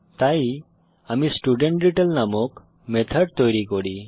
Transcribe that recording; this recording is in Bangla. তাই আমি স্টুডেন্টডিটেইল নামক মেথড তৈরী করি